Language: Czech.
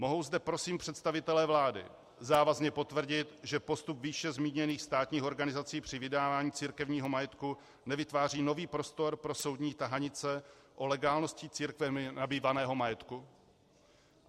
Mohou zde prosím představitelé vlády závazně potvrdit, že postup výše zmíněných státních organizací při vydávání církevního majetku nevytváří nový prostor pro soudní tahanice o legálnosti církvemi nabývaného majetku?